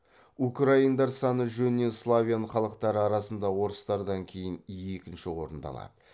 украиндар саны жөнінен славян халықтары арасында орыстардан кейін екінші орынды алады